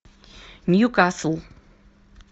ньюкасл